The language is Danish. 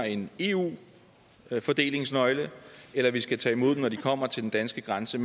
en eu fordelingsnøgle eller at vi skal tage imod dem når de kommer til den danske grænse